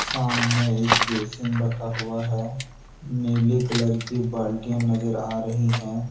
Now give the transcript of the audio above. सामने एक बेशिंग रखा हुआ है नीले कलर की बाल्टी नजर आ रही है।